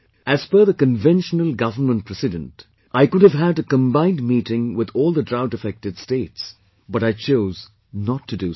As per the conventional Government precedent, I could have had a combined meeting with all the drought affected states, but I chose not to do so